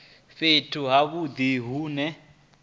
fhethu ha vhudi hu ne